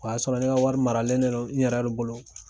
O y'a sɔrɔ ne ka wari maralen de don n yɛrɛ bolo.